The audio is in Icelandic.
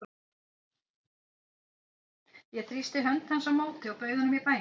Ég þrýsti hönd hans á móti og bauð honum í bæinn.